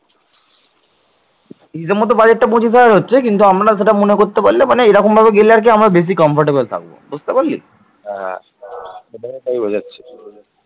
হিসেবমতো budget টা পঁচিশ হাজার হচ্ছে কিন্তু আমরা সেটা মনে করতে পারলে মানে এরকম ভাবে গেলে আরকি আমরা বেশি comfortable থাকবো। বুঝতে পারলি?